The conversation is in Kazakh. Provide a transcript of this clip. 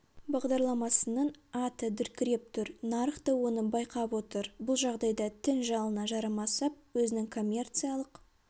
бағдарламасының аты дүркіреп тұр нарық та оны байқап отыр бұл жағдайда тің жалына жармасып өзінің коммерциялық